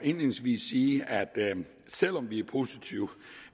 selv om vi er positive